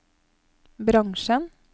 bransjen